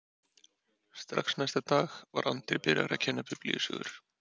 Strax næsta dag var Andri byrjaður að kenna biblíusögur.